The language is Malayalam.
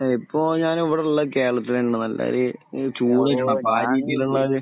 ഇപ്പോൾ ഞാൻ ഇവിടെയുള്ള കേരളത്തിൽ ഈ ചൂട്